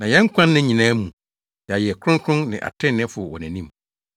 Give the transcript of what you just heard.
Na yɛn nkwa nna nyinaa mu, yɛayɛ kronkron ne atreneefo wɔ nʼanim.